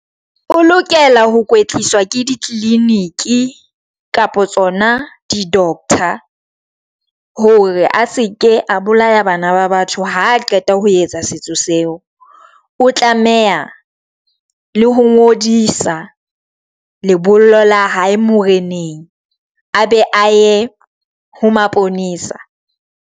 O lokela ho kwetliswa ke ditliliniki kapa tsona di doctor, hore a se ke a bolaya bana ba batho. Ha qeta ho etsa setso seo o tlameha le ho ngodisa lebollo la hae moreneng a be a ye ho maponesa.